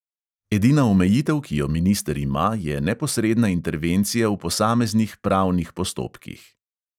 Edina omejitev, ki jo minister ima, je neposredna intervencija v posameznih pravnih postopkih.